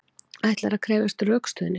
Ætlar að krefjast rökstuðnings